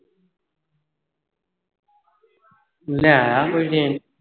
ਲੈਆਂ ਖੋਜ ਦਿਨ